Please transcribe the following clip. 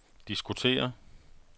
diskutere